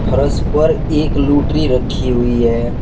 फर्श पर एक लूटरी रखी हुई है।